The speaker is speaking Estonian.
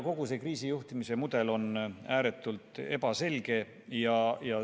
Kogu see kriisijuhtimise mudel on ääretult ebaselge.